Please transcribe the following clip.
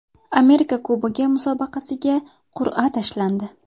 Amerika Kubogi musobaqasiga qur’a tashlandi.